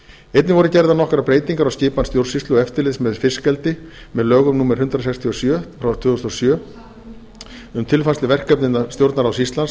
einnig voru gerðar nokkrar breytingar á skipan stjórnsýslu og eftirlits með fiskeldi með lögum númer hundrað sextíu og sjö tvö þúsund og sjö um tilfærslu verkefna innan stjórnarráðs íslands